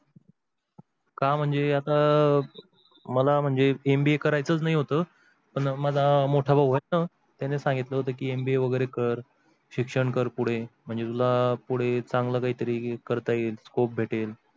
का म्हणजे आता आह मला म्हणजे MBA कारायचच नाही होत माझ मोठा भाऊ होता त्यांनी सांगितल होत की MBA वेगेरे कर शिक्षण कर पुढे म्हणजे तुला पुढे चांगल काही तरी करता येईल scope भेटेल.